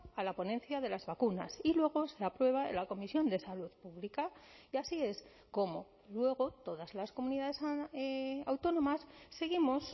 a la ponencia de las vacunas y luego se aprueba en la comisión de salud pública y así es cómo luego todas las comunidades autónomas seguimos